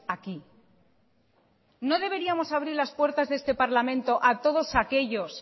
aquí no deberíamos abrir las puertas de este parlamento a todos aquellos